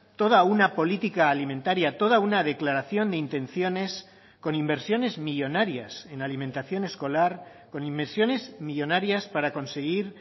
toda una política alimentaria toda una declaración de intenciones con inversiones millónarias en alimentación escolar con inversiones millónarias para conseguir